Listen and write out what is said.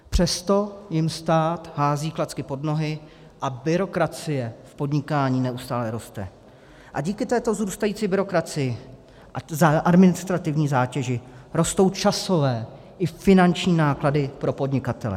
Přesto jim stát hází klacky pod nohy a byrokracie v podnikání neustále roste a díky této vzrůstající byrokracii a administrativní zátěži rostou časové i finanční náklady pro podnikatele.